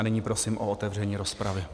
A nyní prosím o otevření rozpravy.